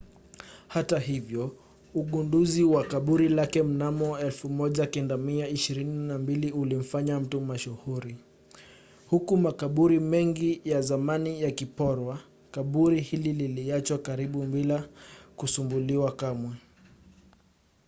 hata hivyo ugunduzi wa kaburi lake mnamo 1922 ulimfanya mtu mashuhuri. huku makaburi mengi ya zamani yakiporwa kaburi hili liliachwa karibu bila kusumbuliwa kamwe